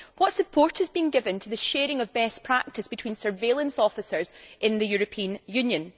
What support is being given to the sharing of best practice between surveillance officers in the European Union?